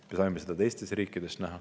Me saime sedasama näha teistes riikides.